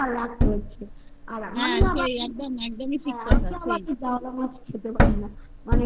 কিনে এবং রাখতে হচ্ছে আর আমি আবার ঠিক কথা একদমই জাউলামাছ খেতে পারি না